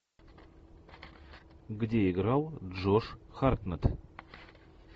где играл джош хартнетт